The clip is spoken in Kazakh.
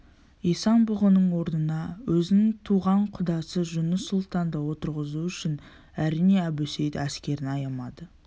исан-бұғының орнына өзінің туған құдасы жұныс сұлтанды отырғызу үшін әрине әбусейіт әскерін аямайды